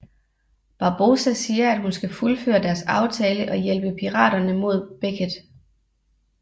Barbossa siger at hun skal fuldføre deres aftale og hjælpe piraterne mod Beckett